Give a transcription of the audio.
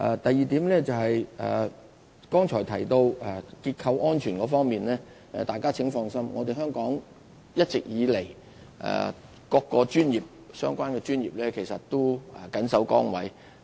第二，關於剛才提到的結構安全問題，請大家放心，香港各個相關專業的人員一直以來都緊守崗位。